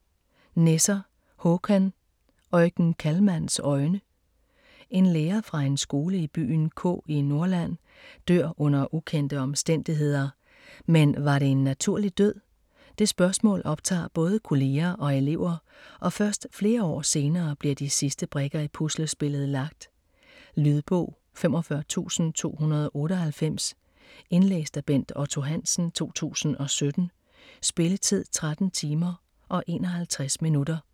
Nesser, Håkan: Eugen Kallmanns øjne En lærer fra en skole i byen K i Norrland dør under ukendte omstændigheder, men var det en naturlig død? Det spørgsmål optager både kolleger og elever, og først flere år senere bliver de sidste brikker i puslespillet lagt. Lydbog 45298 Indlæst af Bent Otto Hansen, 2017. Spilletid: 13 timer, 51 minutter.